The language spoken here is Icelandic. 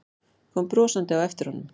Kom brosandi á eftir honum.